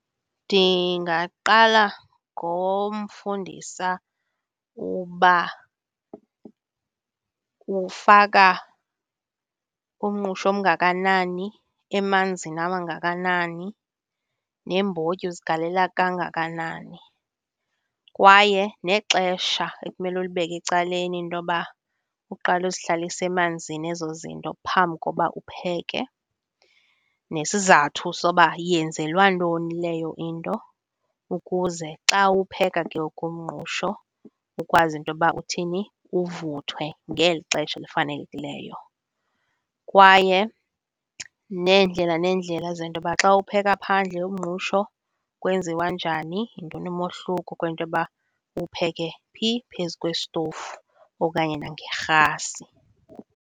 Ndingaqala ngomfundisa uba ufaka umngqusho omngakanani emanzini amangakanani, neembotyi uzigalela kangakanani. Kwaye nexesha ekumele ulibeke ecaleni intoba uqale uzihlalise emanzini ezo zinto phambi koba upheke, nesizathu soba yenzelwa ntoni leyo into ukuze xa uwupheka ke ngoku umngqusho ukwazi intoba uthini, uvuthwe ngeli xesha elifanelekileyo. Kwaye neendlela neendlela zentoba xa uwupheka phandle umngqusho kwenziwa njani, yintoni umohluko kwintoba uwupheke phi phezu kwesitovu okanye nangerhasi.